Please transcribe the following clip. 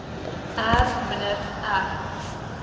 r minder r